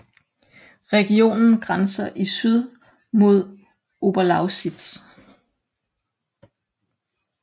Regionen grænser i syd mod Oberlausitz